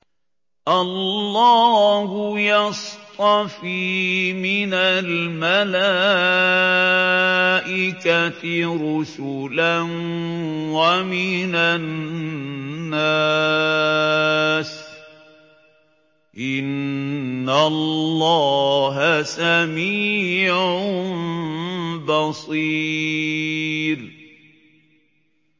اللَّهُ يَصْطَفِي مِنَ الْمَلَائِكَةِ رُسُلًا وَمِنَ النَّاسِ ۚ إِنَّ اللَّهَ سَمِيعٌ بَصِيرٌ